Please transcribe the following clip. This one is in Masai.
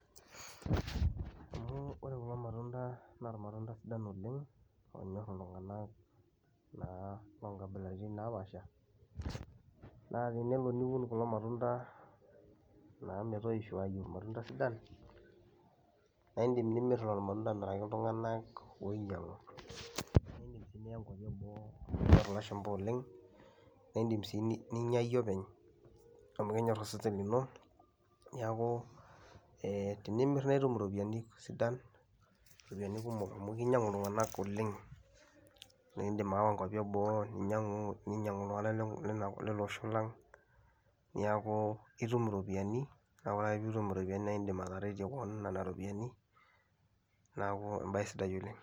Amu ore kulo matunda naa irmatunda sidan oleng' oonyorr iltung'anak naa loo nkabilaritin napaasha, naa tenelo niun kulo matunda naa metoisho aayu irmatunda sidan naa iindim nimir lolo matunda amiraki iltung'anak oinyang'u, naa iindim sii niya nkuapi eboo amu enyor ilashumba oleng', naa iindim sii ni ninya iyie openy amu kenyor osesen lino. Neeku ee tenimir nae itum iropiani sidan iropiani kumok amu kinyang'u iltung'anak oleng' naa iindim ayawa nkaupi eboo, ninyang'u ninyang'u iltung'anak lina le lele osho lang' neeku itum iropiani, neeku ore ake piitum iropiani nae iindim ataretie keon nena ropiani, neeku embaye sidai oleng'.